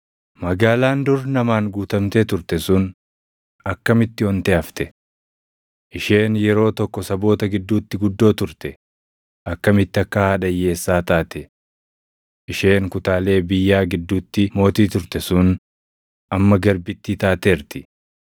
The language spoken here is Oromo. Magaalaan dur namaan guutamtee turte sun akkamitti ontee hafte! Isheen yeroo tokko saboota gidduutti guddoo turte akkamitti akka haadha hiyyeessaa taate! Isheen kutaalee biyyaa gidduutti mootii turte sun amma garbittii taateerti.